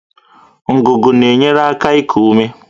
Ngụgụ na-enyere aka iku ume